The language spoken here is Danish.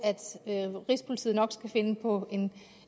at rigspolitiet nok skal finde på